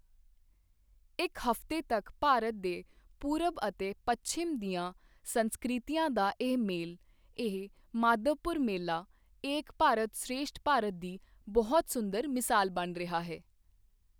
ਇੱਕ ਹਫ਼ਤੇ ਤੱਕ ਭਾਰਤ ਦੇ ਪੂਰਬ ਅਤੇ ਪੱਛਮ ਦੀਆਂ ਸੰਸਕ੍ਰਿਤੀਆਂ ਦਾ ਇਹ ਮੇਲ, ਇਹ ਮਾਧਵਪੁਰ ਮੇਲਾ ਏਕ ਭਾਰਤ ਸ਼੍ਰੇਸ਼ਠ ਭਾਰਤ ਦੀ ਬਹੁਤ ਸੁੰਦਰ ਮਿਸਾਲ ਬਣ ਰਿਹਾ ਹੈ।